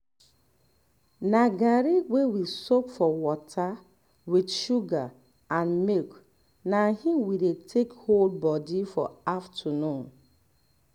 na garri wey we soak for water with sugar and milk na im we take dey hold body for afternoon